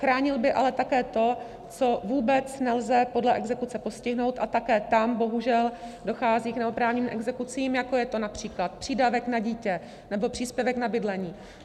Chránil by ale také to, co vůbec nelze podle exekuce postihnout, a také tam bohužel dochází k neoprávněným exekucím, jako je to například přídavek na dítě nebo příspěvek na bydlení.